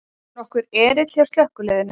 Nokkur erill hjá slökkviliðinu